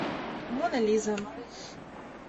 мона лиза